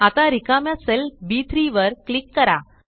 आता रिकाम्या सेल बी3 वर क्लिक करा